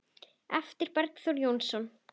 eftir Bergþór Jónsson